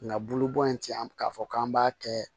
Nka bulu bɔn in tɛ an k'a fɔ k'an b'a kɛ